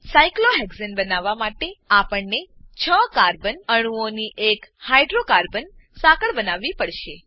સાયક્લોહેક્સાને cyclohexane બનાવવા માટે આપણને છ કાર્બન કાર્બન અણુઓની એક હાઇડ્રોકાર્બન હાઈડ્રોકાર્બન સાંકળ બનાવવી પડે છે